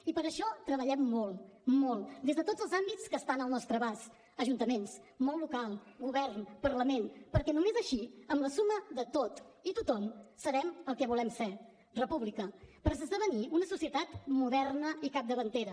i per això treballem molt molt des de tots els àmbits que estan al nostre abast ajuntaments món local govern parlament perquè només així amb la suma de tot i tothom serem el que volem ser república per esdevenir una societat moderna i capdavantera